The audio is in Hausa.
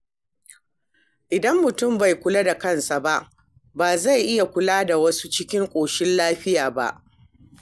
Idan mutum bai kula da kansa ba, ba zai iya kula da wasu cikin ƙoshin lafiya ba.